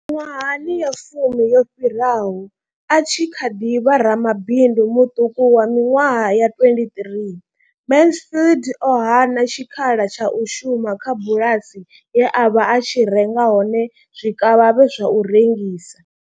Miṅwaha ya fumi yo fhiraho, a tshi kha ḓi vha ramabindu muṱuku wa miṅwaha ya 23, Mansfield o hana tshikhala tsha u shuma kha bulasi ye a vha a tshi renga hone zwikavhavhe zwa u rengisa.